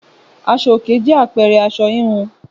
Aṣọ òkè jẹ́ àpẹẹrẹ aṣọ híhun